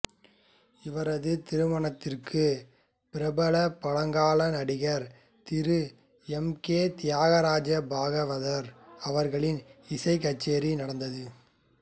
இவரது திருமணத்திற்கு பிரபல பழங்கால நடிகர் திரு எம் கே தியாகராஜ பாகவதர் அவர்களின் இசைக் கச்சேரி நடந்தது